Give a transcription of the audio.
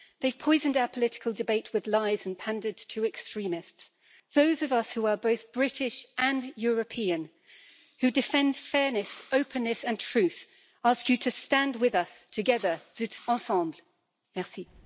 They've poisoned our political debate with lies and pandered to extremists. Those of us who are both British and European, who defend fairness, openness and truth, ask you to stand with us together, zusammen ensemble